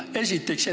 Seda esiteks.